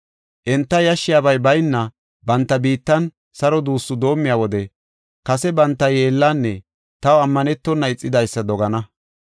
Enta yashshiyabay bayna, banta biittan saro duussu doomiya wode kase banta yeellanne taw ammanetona ixidaysa dogana.